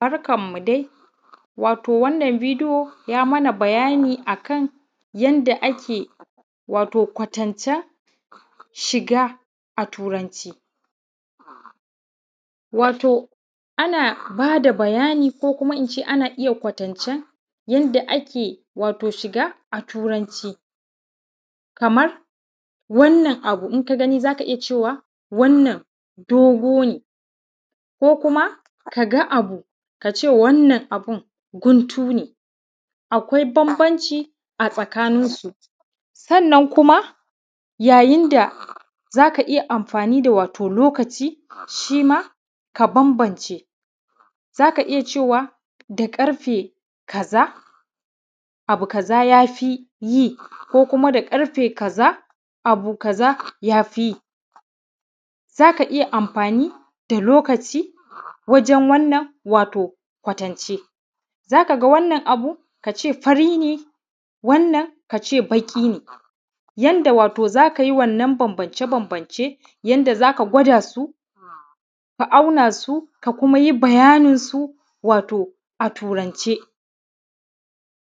Barkanmu dai. Wato wannan video ya mana bayani a kan kan yanda ake wato kwatancen shiga a Turanci. Wato ana ba da bayani, ko kuma in ce ana iya kwatancen yanda ake wato shiga a Turanci. Kamar wannan abu in ka gani za ka iya cewa, wannan dogo ne, ko kuma ka ga abu ka ce wannan abin guntu ne, akwai bambanci a tsakaninsu. Sannan kuma yayin da za ka iya amfani da wato lokaci shi ma, ka bambance, za ka iya cewa, da ƙarfe kaza, abu kaza ya fi yi, ko kuma da ƙarfe kaza, abu kaza ya fi yi. Za ka iya amfani da lokaci wajen wannan wato kwatance. Za ka ga wannan abu ka ce fari ne, wannan ka ce baƙi ne, yanda wato za ka yi wannan bambance bambance, yanda za ka gwada su, ka auna su, ka kuma yi bayaninsu, wato a Turance.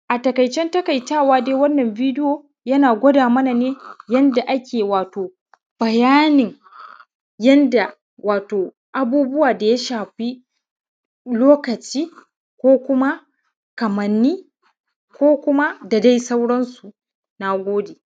A taƙaicen taƙaitawa dai wannan video yana gwada mana ne yanda ake wato bayanin yanda wato abubuwa da ya shafi lokaci ko kuma kamanni ko kuma da dai sauransu. Na gode.